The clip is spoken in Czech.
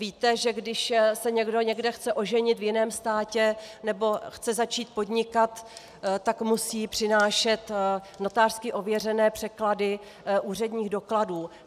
Víte, že když se někdo někde chce oženit v jiném státě nebo chce začít podnikat, tak musí přinášet notářsky ověřené překlady úředních dokladů.